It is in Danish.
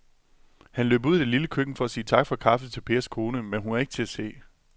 Han løb ud i det lille køkken for at sige tak for kaffe til Pers kone, men hun var ikke til at se.